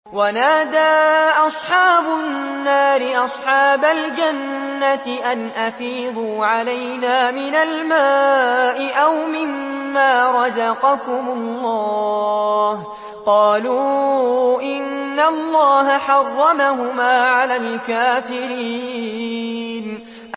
وَنَادَىٰ أَصْحَابُ النَّارِ أَصْحَابَ الْجَنَّةِ أَنْ أَفِيضُوا عَلَيْنَا مِنَ الْمَاءِ أَوْ مِمَّا رَزَقَكُمُ اللَّهُ ۚ قَالُوا إِنَّ اللَّهَ حَرَّمَهُمَا عَلَى الْكَافِرِينَ